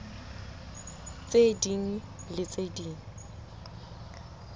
tse ding le tse ding